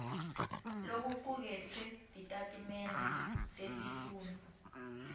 lokucuketfwe titatimende tesifundvo